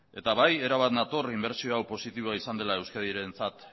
erabat nator inbertsio hau positiboa izan dela euskadirentzat